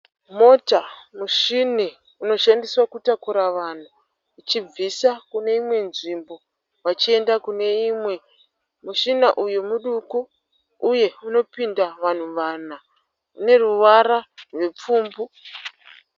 Mota muchini unoshandiswa kutakura vanhu vachibviswa kune imwe nzvimbo vachiyenda kune imwe. Muchina uyu muduku uye unopinda vanhu vanha. Ineruvara rupfumbu.